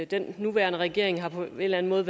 den nuværende regering på en eller anden måde